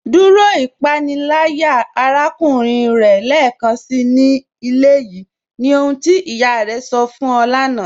Dúró ìpànílàyà àràkùnrìn rẹ̀ lẹ́ẹkánsí ní ilẹ̀ yìí, ní ohun tí iyá rẹ̀ sọ̀ fún yọ̀ láńà.